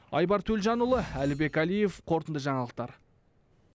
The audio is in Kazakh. айбар төлжанұлы әлібек әлиев қорытынды жаңалықтар